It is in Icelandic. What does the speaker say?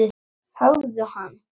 Höggðu hann!